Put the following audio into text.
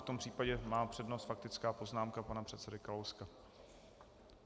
V tom případě má přednost faktická poznámka pana předsedy Kalouska.